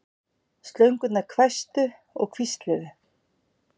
Slöngurnar hvæstu og hvísluðu.